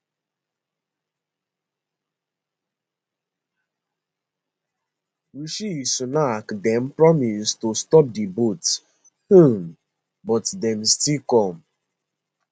rishi sunak den promise to stop di boats um but dem still come